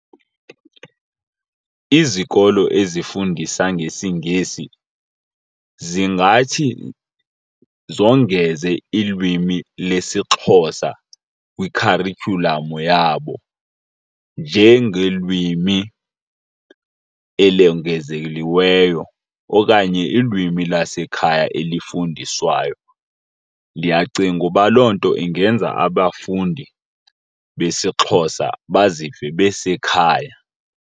Izikolo ezifundisa ngesiNgesi zingathi zongeze ilwimi lesiXhosa kwikharityhulamu yabo njengelwimi elongezelelweyo okanye ilwimi lasekhaya elifundiswayo. Ndiyacinga uba loo nto ingenza abafundi besiXhosa bazive basekhaya.